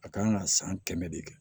A kan ka san kɛmɛ de kɛ